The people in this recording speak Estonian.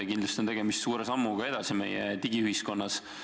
Kindlasti on tegemist suure sammuga edasi meie digiühiskonnas.